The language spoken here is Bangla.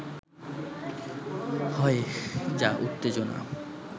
হয় যা উত্তেজনা